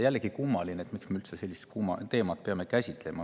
Jällegi kummaline, miks me peame üldse sellist teemat käsitlema.